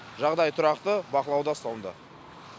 жағдай тұрақты бақылауда ұсталынды